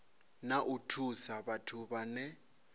na u thusa vhathu vhane